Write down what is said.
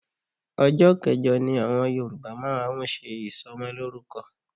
Ọjọ́ kẹjọ ni àwọn Yorùbá máa ń ṣe ìsọmọlórúkọ